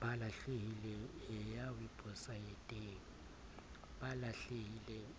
ba lahlehileng